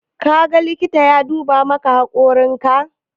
Ka ga likita ya duba maka hakorin ka?